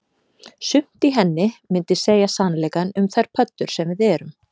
Sumt í henni myndi segja sannleikann um þær pöddur sem við erum